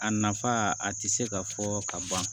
A nafa a tɛ se ka fɔ ka ban